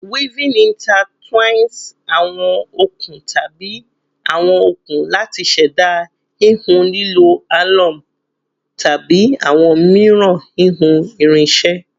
Weaving intertwines awon okun tabi awọn okun lati ṣẹda hihun lilo a loom tabi awọn miiran hihun irinṣẹ